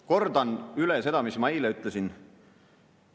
Kordan üle seda, mis ma eile ütlesin.